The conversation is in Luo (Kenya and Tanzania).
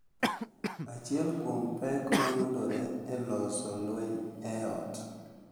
Achiel kuom pek ma yudore e loso lweny e ot